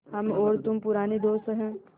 हम और तुम पुराने दोस्त हैं